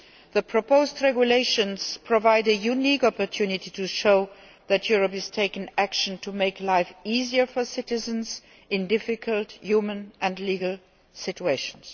The proposed regulations provide a unique opportunity to show that Europe is taking action to make life easier for citizens in difficult human and legal situations.